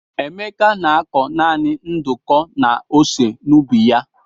Emeka na-akọ naanị nduku na ose n'ubi ya.